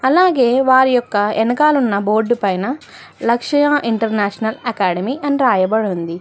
అలాగే వారి యొక్క ఎనకాల ఉన్న బోర్డు పైన లక్షయ ఇంటర్నేషనల్ అకాడమీ అని రాయబడి ఉంది.